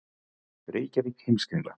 Reykjavík: Heimskringla.